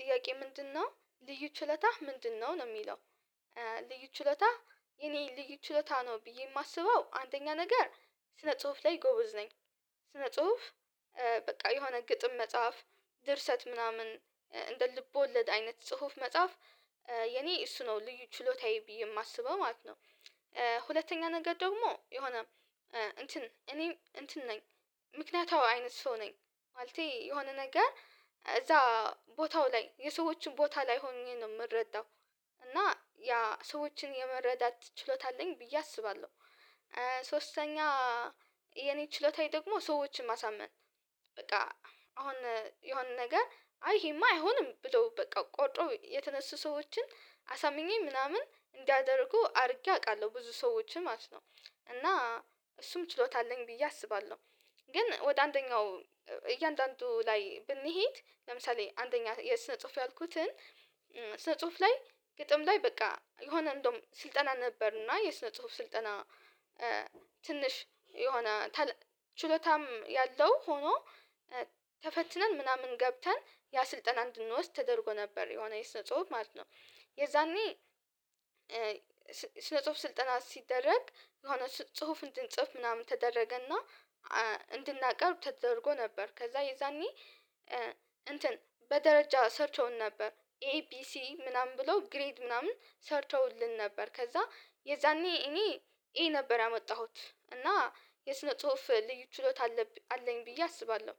ጥያቄ ምንድነው ልዩ ችሎታህ ምንድነው ነው የሚለው? ልዩ ችሎታ የኔ ልዩ ችሎታ ነው ብዬ የማስበው አንደኛ ነገር ስነ ጽሁፍ ላይ ጎበዝ ነኝ። ስነ ጽሁፍ በቃ የሆነ ግጥም መጻፍ ድርሰት ምናምን እንደ ልቦለድ አይነት ጽሁፍ መጻፍ የኔ እሱ ነው ልዩ ችሎታዬ ብዬ የማስበው ማለት ነው። ሁለተኛ ነገር ደግሞ የሆነ እንትን እኔ እንትን ነኝ ምክንያታዊ አይነት ሰው ነኝ ማለቴ የሆነ ነገር እዛ ቦታው ላይ የሰዎችን ቦታ ላይ ሆኜ ነው የምረዳው እና ያ ሰዎችን የመረዳት ችሎታ አለኝ ብዬ አስባለሁ። ሶስተኛ የኔ ችሎታዬ ደግሞ ሰዎችን ማሳመን በቃ አሁን የሆነ ነገር አይ ይሄማ አይሆንም ብሎ በቃ ቆርጦ የተነሱ ሰዎችን አሳምኜ ምናምን እንዲያደርጉ አድርጌ አውቃለሁ ብዙ ሰዎችን ማለት ነው እና እሱም ችሎታ አለኝ ብዬ አስባለሁ። ግን ወደ አንደኛው እያንዳንዱ ላይ ብንሄድ ለምሳሌ አንደኛ የስነ ጽሁፍ ያልኩትን ስነ ጽሁፍ ላይ ግጥም ላይ በቃ የሆነ እንደውም ስልጠና ነበርና የስነ ጽሁፍ ስልጠና ትንሽ የሆነ ታለንት ችሎታም ያለው ሆኖ ተፈትነን ምናምን ገብተን ያ ስልጠና እንድንወስድ ተደርጎ ነበር የሆነ የስነ ጽሁፍ ማለት ነው። የዛኔ ስነ ጽሁፍ ስልጠና ሲደረግ የሆነ ጽሁፍ እንድንጽፍ ምናምን ተደረገና እንድናቀርብ ተደርጎ ነበር ከዛ የዛኔ እንትን በደረጃ ሰርተውን ነበር ኤቢሲ ምናምን ብሎ ግሬድ ምናምን ሰርተውልን ነበር ከዛ የዛኔ እኔ ኤ ነበር ያመጣሁት እና የስነ ጽሁፍ ልዩ ችሎታ አለኝ ብዬ አስባለሁ።